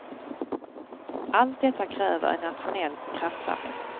Allt detta kräver en nationell kraftsamling.